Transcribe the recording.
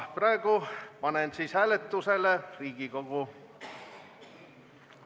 Praegu panen hääletusele Riigikogu ...